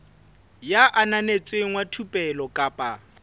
ya ananetsweng wa thupelo kapa